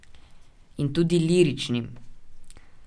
In tudi liričnim.